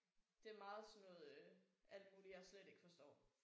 Det er meget sådan noget øh alt muligt jeg slet ikke forstår